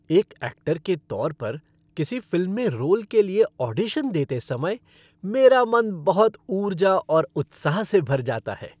एक ऐक्टर के तौर पर, किसी फ़िल्म में रोल के लिए ऑडिशन देते समय मेरा मन बहुत ऊर्जा और उत्साह से भर जाता है।